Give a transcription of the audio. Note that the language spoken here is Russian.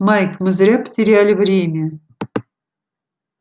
майк мы зря потеряли время